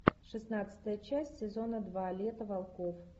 шестнадцатая часть сезона два лето волков